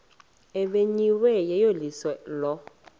ebimenyiwe yeyeliso lo